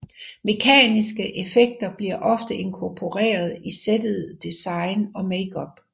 Mekaniske effekter bliver ofte inkorporeret i settet design og makeup